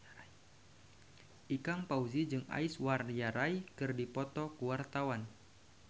Ikang Fawzi jeung Aishwarya Rai keur dipoto ku wartawan